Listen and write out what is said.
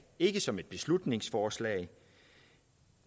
ikke som et beslutningsforslag